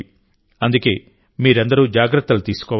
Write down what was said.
అందుకే మీరందరూ జాగ్రత్తలు తీసుకోవాలి